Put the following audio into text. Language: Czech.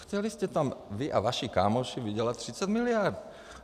Chtěli jste tam, vy a vaši kámoši, vydělat 30 miliard.